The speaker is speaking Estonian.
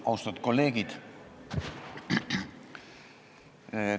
Austatud kolleegid!